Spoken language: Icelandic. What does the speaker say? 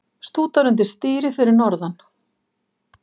Stútar undir stýri fyrir norðan